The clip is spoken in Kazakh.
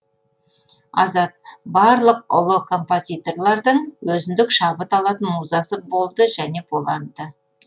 азат барлық ұлы композиторлардың өзіндік шабыт алатын музасы болды және болады да